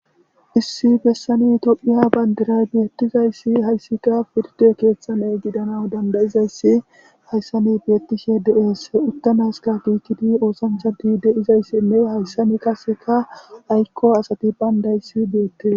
issi bessani tophiya bandiray beettizayssi hayssika pirte keeththane gidana dandayizayssi hayssami beettishe dees uttamaska giikidi oosanchadi deizayssinne hayssami kaseka aykko asati bayndayssi bettes